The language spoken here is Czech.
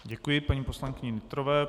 Děkuji paní poslankyni Nytrové.